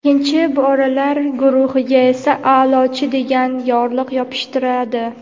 "ikkichi" bolalar guruhiga esa "a’lochi" degan yorliq yopishtiradi.